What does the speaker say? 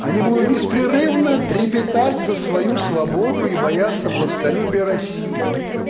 они будут беспрерывно трепетать за свою свободу и боятся властолюбия россии